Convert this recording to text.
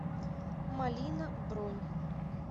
малина бронь